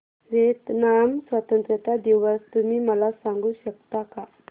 Vietnam स्वतंत्रता दिवस तुम्ही मला सांगू शकता का